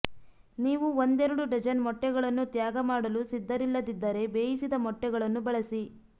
ನೀವು ಒಂದೆರಡು ಡಜನ್ ಮೊಟ್ಟೆಗಳನ್ನು ತ್ಯಾಗಮಾಡಲು ಸಿದ್ಧರಿಲ್ಲದಿದ್ದರೆ ಬೇಯಿಸಿದ ಮೊಟ್ಟೆಗಳನ್ನು ಬಳಸಿ